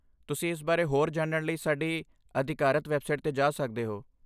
ਤੁਸੀਂ ਇਸ ਬਾਰੇ ਹੋਰ ਜਾਣਨ ਲਈ ਸਾਡੀ ਅਧਿਕਾਰਤ ਵੈੱਬਸਾਈਟ 'ਤੇ ਜਾ ਸਕਦੇ ਹੋ।